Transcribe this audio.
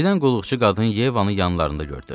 Birdən qulluqçu qadın Yevanın yanlarında gördü.